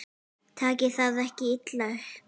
Takið það ekki illa upp.